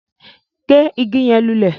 Gé ìgi yẹn lulẹ!